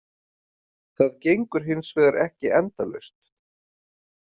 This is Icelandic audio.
Það gengur hins vegar ekki endalaust.